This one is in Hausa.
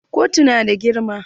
Kotun na da girma?